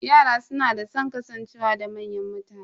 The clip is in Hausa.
Yara suna da san kasancewa da manyan mutane.